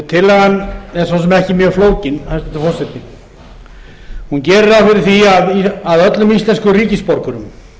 tillagan er svo sem ekki mjög flókin hæstvirtur forseti hún gerir ráð fyrir því að öllum íslenskum ríkisborgurum